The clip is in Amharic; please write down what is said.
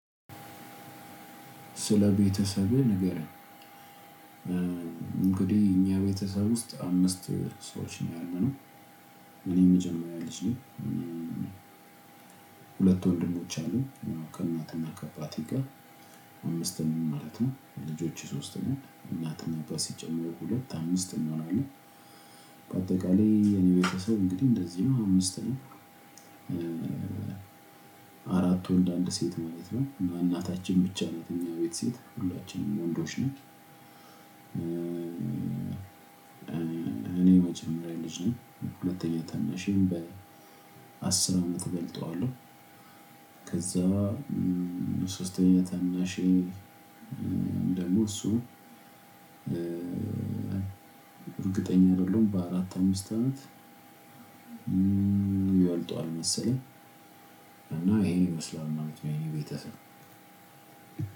ስለ ቤተሰብህ ንገረኝ እንግዲህ እኛ ቤተሰብ ውስጥ አምስት ሰዎች ነው ያለነው። እኔ የመጀመሪያ ልጅ ነኝ። ሁለት ወንድሞች አሉ ከእናትና ከባቴ ጋር አምስትም ማለት ነው ልጆች ሶስትም እናትን ነበር ሲጨመር ሁለት አምስት እንሆናለን በአጠቃላይ የኔ ቤተሰብ እንግዲህ እንደዚህ ነው አምስት ነው። አራቱ እንደ አንድ ሴት ማለት ነው እና እናታችን ብቻ ነው የኛ ቤት ሴት ሁላችንም ወንዶች ነን እኔ መጀመሪያ ልጅ ነኝ ሁለተኛ ታናሺም በአስር አመት እበልጠዋለሁ ከዛ ሶስተኛ ተናሼ ደሞ እሱ እርግጠኛ አይደለሁም በአራት አምስት አመት ይበጠዋል መሰለኝ እና ይሄን ይመስላል ማለት ነው የኛ ቤተሰብ